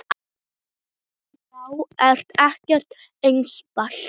Það er ekkert einfalt svar.